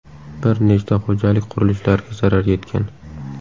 Bir nechta xo‘jalik qurilishlariga zarar yetgan.